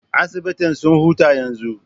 Asibitin suna hutu yanzo.